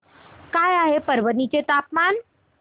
काय आहे परभणी चे तापमान